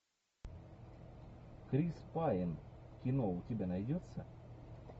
крис пайн кино у тебя найдется